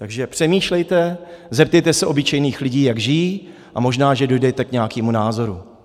Takže přemýšlejte, zeptejte se obyčejných lidí, jak žijí, a možná že dojdete k nějakému názoru.